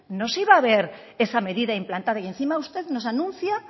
no se iba a ver esa medida implantada y encima usted nos anuncia